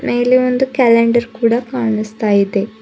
ಮೇಲೆ ಒಂದು ಕ್ಯಾಲೆಂಡರ್ ಕೂಡ ಕಾಣಿಸ್ತಾ ಇದೆ.